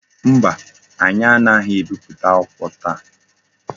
Mba, anyi anaghi ebipụta akwụkwọ taa.